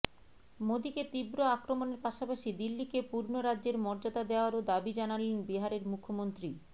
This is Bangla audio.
মোদীকে তীব্র আক্রমণের পাশাপাশি দিল্লিকে পূর্ণ রাজ্যের মর্যাদা দেওয়ারও দাবি জানালেন বিহারের মুখ্যমন্ত্রী